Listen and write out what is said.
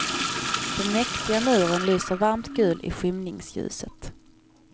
Den mäktiga muren lyser varmt gul i skymningsljuset.